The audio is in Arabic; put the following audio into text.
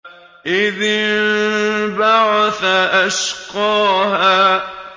إِذِ انبَعَثَ أَشْقَاهَا